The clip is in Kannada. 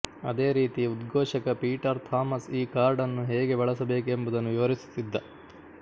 ಅದೇ ರೀತಿ ಉದ್ಘೋಷಕ ಪೀಟರ್ ಥಾಮಸ್ ಈ ಕಾರ್ಡನ್ನು ಹೇಗೆ ಬಳಸಬೇಕೆಂಬುದನ್ನು ವಿವರಿಸುತ್ತಿದ್ದ